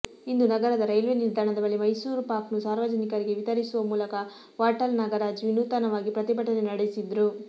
ಇಂದು ನಗರದ ರೈಲ್ವೆ ನಿಲ್ದಾಣದ ಬಳಿ ಮೈಸೂರು ಪಾಕ್ನ್ನು ಸಾರ್ವಜನಿಕರಿಗೆ ವಿತರಿಸುವ ಮೂಲಕ ವಾಟಾಳ್ ನಾಗರಾಜ್ ವಿನೂತನವಾಗಿ ಪ್ರತಿಭಟನೆ ನಡೆಸಿದ್ರು